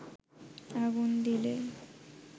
আগুন দিলে